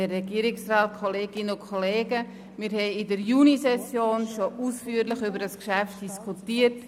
Wir haben in der Junisession schon ausführlich über dieses Geschäft diskutiert.